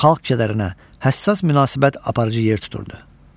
Xalq kədərinə həssas münasibət aparıcı yer tuturdu.